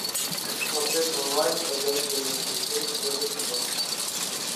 смотреть онлайн ходячие мертвецы первый сезон